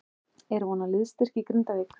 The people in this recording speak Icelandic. Er von á liðsstyrk í Grindavík?